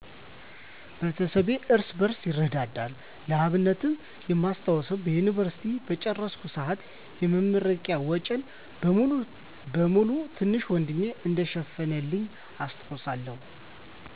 ቤተሰባችን እርስ በርስ ይረዳዳል። ለአብነትም የማስታውሰው፣" የዮኒቨርሲቲ" በጨረስኩ ሰአት የመረቂያ ወጨን በሙሉ ትንሽ ወንድሜ እንደሸፈነልኝ አስታውሳለሁ።